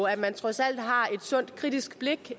at man trods alt har et sundt kritisk blik